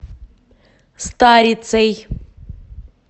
старицей